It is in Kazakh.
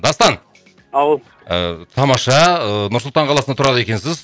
дастан ау ыыы тамаша ыыы нұр сұлтан қаласында тұрады екенсіз